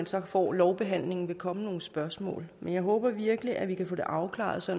så får lovbehandlingen vil komme nogle spørgsmål men jeg håber virkelig at vi kan få det afklaret så